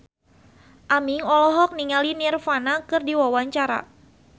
Aming olohok ningali Nirvana keur diwawancara